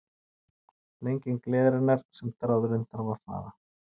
Lenging leiðarinnar sem þráðurinn þarf að fara